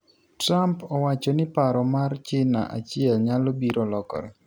Trump owacho ni paro mar Cina achiel nyalo biro lokore.